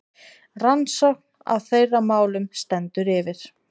Rannsókn á þeirra málum stendur yfir.